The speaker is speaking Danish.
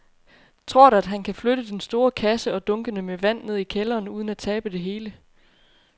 Tror du, at han kan flytte den store kasse og dunkene med vand ned i kælderen uden at tabe det hele?